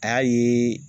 A y'a ye